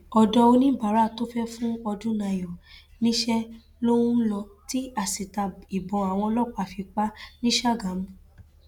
ọdọ oníbàárà tó fẹẹ fún ọdúnnayọ níṣẹ ló ń lò tí asítà ìbọn àwọn ọlọpàá fi pa á ní ṣàgámù